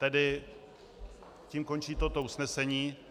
Tedy tím končí toto usnesení.